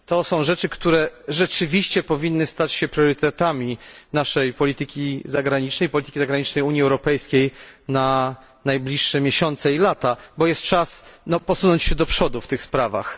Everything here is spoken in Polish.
Zagadnienia te rzeczywiście powinny się stać priorytetami naszej polityki zagranicznej, polityki zagranicznej Unii Europejskiej na najbliższe miesiące i lata, bo jest czas posunąć się do przodu w tych kwestiach.